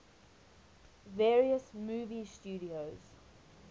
various movie studios